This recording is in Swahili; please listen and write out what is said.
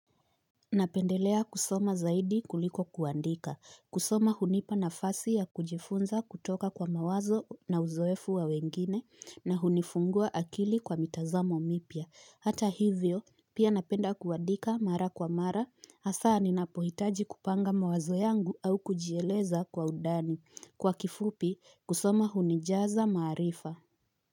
Napendelea kusoma zaidi kuliko kuandika kusoma hunipa nafasi ya kujifunza kutoka kwa mawazo na uzoefu wa wengine na hunifungua akili kwa mitazamo mipya hata hivyo pia napenda kuandika mara kwa mara hasa ninapohitaji kupanga mawazo yangu au kujieleza kwa undani kwa kifupi kusoma hunijaza maarifa.